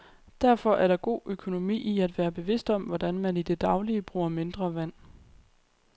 Derfor er der god økonomi i at være bevidst om, hvordan man i det daglige bruger mindre vand.